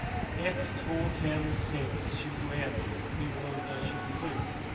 ett två fem sex tjugoett sjuhundratjugosju